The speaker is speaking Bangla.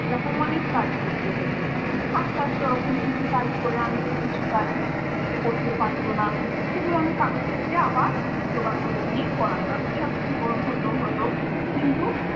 এরকম অনেক কাজ করতে হতো। আস্তে আস্তে ওরকম কিছু কাজ করে আনতো, কিছু কাজ করতে পারতো না। সেগুলো আমি কারোর থেকে আবার জোগাড় করে নিয়ে পড়াতাম এরকম হতো হতো। কিন্তু